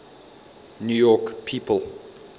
new york people